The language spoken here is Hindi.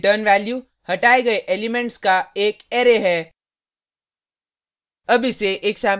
इस फंक्शन की रिटर्न वैल्यू हटाये गये एलिमेंट्स का एक अरै है